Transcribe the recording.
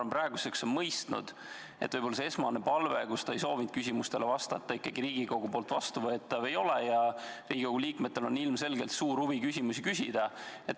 Ma arvan, et peaminister on praeguseks mõistnud, et esmane palve, mille järgi ta ei soovinud küsimustele vastata, ei ole Riigikogule vastuvõetav ja et Riigikogu liikmetel on suur huvi küsimusi küsida.